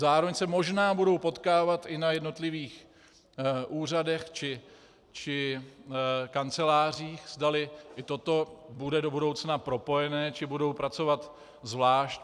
Zároveň se možná budou potkávat i na jednotlivých úřadech či kancelářích, zdali i toto bude do budoucna propojené, či budou pracovat zvlášť.